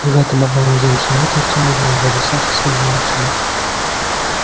и в этом обмороженном человеке артем узнал дядю сашу своего отчима